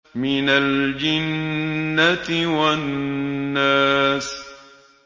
مِنَ الْجِنَّةِ وَالنَّاسِ